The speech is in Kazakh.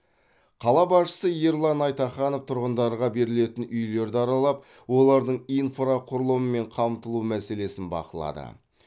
қала басшысы ерлан айтаханов тұрғындарға берілетін үйлерді аралап олардың инфрақұрылыммен қамтылу мәселесін бақылады